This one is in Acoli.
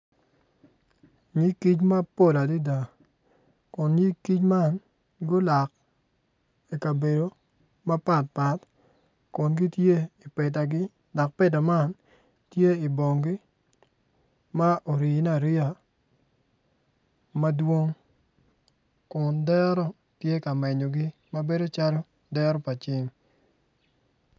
Nyig kic mapol adada kun nyig kic man gulok ikabedo mapat pat kun gitye ipetadi dok peta man tye i bongi ma orine ariya madwong kun dero tye ka menyogi ma bedo calo dero pa ceng